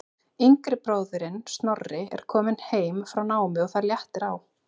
Yngri bróðirinn Snorri er kominn heim frá námi og það léttir á.